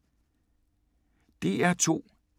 DR2